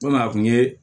a kun ye